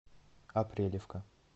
апрелевка